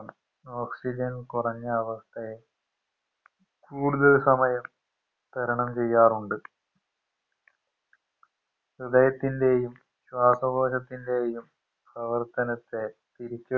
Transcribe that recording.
oxyen കുറഞ്ഞ അവസ്ഥയെ കൂടുതൽ സമയം തരണം ചെയ്യാറുണ്ട് ഹൃദയത്തിൻറെയും ശ്വാസകോശത്തിൻറെയും പ്രവർത്തനത്തെ തിരിച്